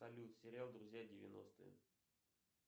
салют сериал друзья девяностые